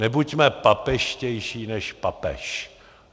Nebuďme papežštější než papež!